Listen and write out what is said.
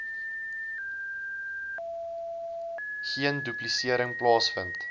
geen duplisering plaasvind